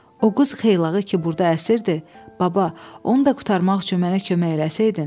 O qus xeylağı ki burda əsirdi, baba, onu da qurtarmaq üçün mənə kömək eləsəydin?